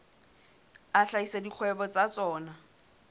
a hlahisa dikgwebo tsa tsona